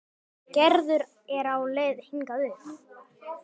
Gerður er á leið hingað upp.